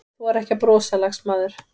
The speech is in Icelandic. Þora ekki að brosa, lagsmaður.